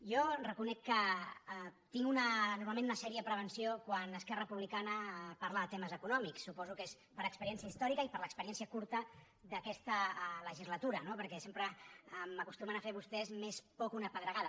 jo reconec que tinc normalment una seriosa prevenció quan esquerra republicana parla de temes econòmics suposo que és per experiència històrica i per l’experiència curta d’aquesta legislatura no perquè sempre m’acostumen a fer vostès més por que una pedregada